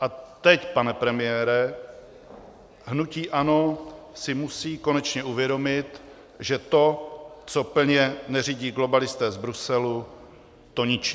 A teď, pane premiére, hnutí ANO si musí konečně uvědomit, že to, co plně neřídí globalisté z Bruselu, to ničí.